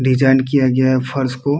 Design किया गया है फर्श को।